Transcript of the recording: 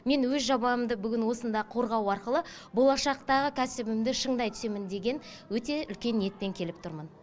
мен өз жобамды бүгін осында қорғау арқылы болашақтағы кәсібімді шыңдай түсемін деген өте үлкен ниетпен келіп тұрмын